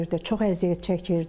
Çox əziyyət çəkirdi.